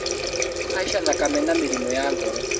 Kũhaica thakame, na mĩrimũ ya ngoro